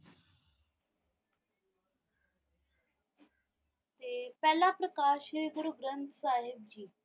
ਤੇ ਪਹਿਲਾ ਪ੍ਰਕਾਸ਼ ਗੁਰੂ ਗਰੰਥ ਸਾਹਿਬ ਜੀ।